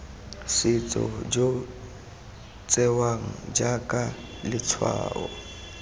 setso jo tsewang jaaka letshwao